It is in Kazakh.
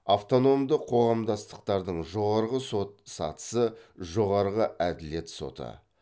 автономды қоғамдастықтардың жоғарғы сот сатысы жоғарғы әділет соты